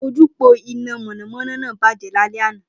Ojúpòó iná mọ̀nàmọ́ná náà bàjẹ́ lálẹ́ anàá